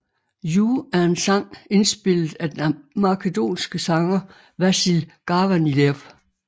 You er en sang indspillet af den makedonske sanger Vasil Garvanliev